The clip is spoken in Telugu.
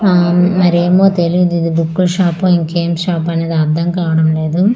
ఆ మరేమో తెలియదు ఇది బుక్ కుల షాపు ఇంకేం షాపు అనేది అర్థం కావడం లేదు.